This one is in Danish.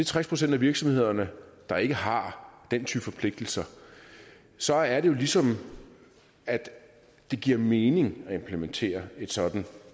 tres procent af virksomhederne der ikke har den type forpligtelser så er det jo ligesom det giver mening at implementere et sådant